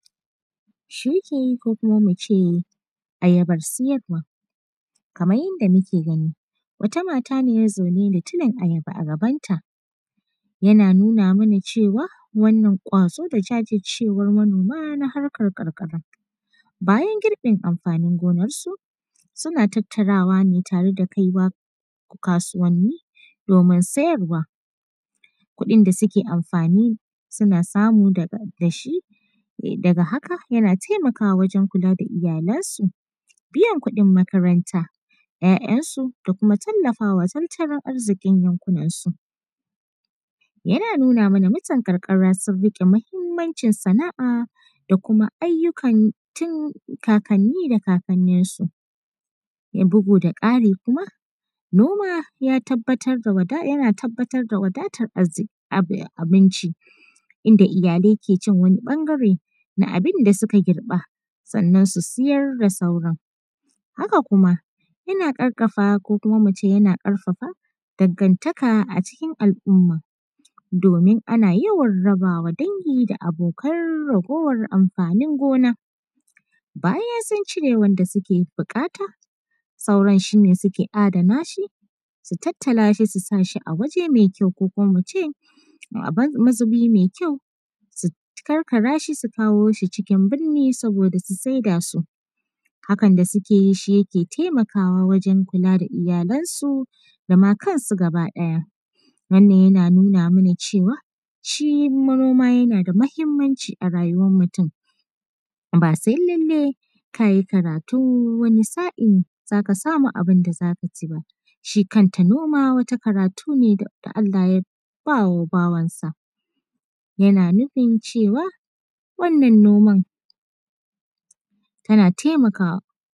Shuki ko kuma muce ayabar siyarwa, kamar yadda muke gani wata mata ne zaune da tulin ayaba a gabanta yana nuna mana cewa wannan gwazo da jajircewar manoma na harkar karkara bayan girbin amfanin gonar su suna tattarawa ne tare da kaiwa kasuwanni domin siyarwa kuɗin da suke amfani suna samu da shi daga haka yana taimakawa wajen kula da iyalansu, biyan kudin makaranta ‘ya’yansu da kuma talafawa tattalin arzikin yankunan su, yana nuna mana mutan karkara sun rike muhimmancin sana’a da kuma ayukan tun kakanni da kakanni su, bugu da kari kuma noma yana tabbatar da wadatar arziki abinci inda iyalai ke cin wanu ɓangare na abin da suka girba sannan su siyar da sauran, haka kuma yana karfafa ko kuma muce yana karfafa dangantaka a cikin al’umma domin ana yawan rabawa dangi abokai raguwar amfanin gona bayan sun cire wanda suke bukata sauran shi ne suke adana shi su tattala shi su sashi a wuri mai kyau ko kuma muce mazubi mai kyau su karkara shi su kawo shi cikin burni saboda su saida su, hakan da suke yi shi yake taimakawa wajen kula da iyalan su dama kansu gaba, ɗaya wannan yana nuna mana cewa shi noma yana da matukar muhimmanci a rayuwar mutum ba sai lallai kayi karatu wani sa’in zaka samu abin da zaka ci ba, shi kanta noma wata karatu ne da Allah yaba wa bawansa yana nufin cewa wannan noman tana taimakawa.